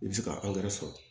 I bɛ se ka sɔrɔ